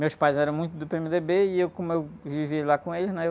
Meus pais eram muito do pê-eme-dê-bê, e eu, como eu vivi lá com eles, né? Eu...